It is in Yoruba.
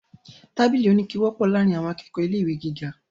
Tábìlì oníke wọ́pọ̀ láàrín àwọn akẹ́kọ̀ọ̀ ilé ìwé gíga.